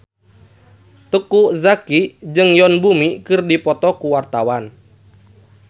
Teuku Zacky jeung Yoon Bomi keur dipoto ku wartawan